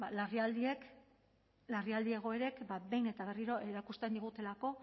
larrialdi egoerek behin eta berriro erakusten digutelako